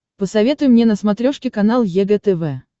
посоветуй мне на смотрешке канал егэ тв